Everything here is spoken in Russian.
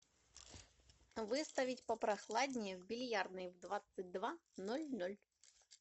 выставить попрохладнее в бильярдной в двадцать два ноль ноль